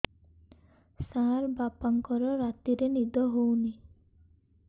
ସାର ବାପାଙ୍କର ରାତିରେ ନିଦ ହଉନି